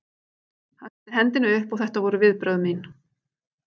Hann setti hendina upp og þetta voru viðbrögð mín.